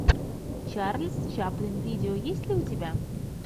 чарльз чаплин видео есть ли у тебя